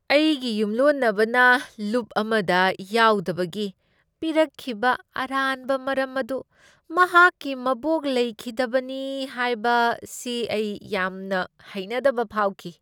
ꯑꯩꯒꯤ ꯌꯨꯝꯂꯣꯟꯅꯕꯅ ꯂꯨꯞ ꯑꯃꯗ ꯌꯥꯎꯗꯕꯒꯤ ꯄꯤꯔꯛꯈꯤꯕ ꯑꯔꯥꯟꯕ ꯃꯔꯝ ꯑꯗꯨ ꯃꯍꯥꯛꯀꯤ ꯃꯕꯣꯛ ꯂꯩꯈꯤꯗꯕꯅꯤ ꯍꯥꯏꯕꯁꯤ ꯑꯩ ꯌꯥꯝꯅ ꯍꯩꯅꯗꯕ ꯐꯥꯎꯈꯤ꯫